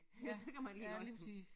Ja så kan man lige læse dem